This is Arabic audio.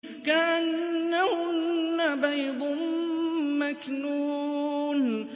كَأَنَّهُنَّ بَيْضٌ مَّكْنُونٌ